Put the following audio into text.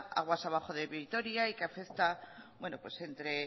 aguas abajo de vitoria y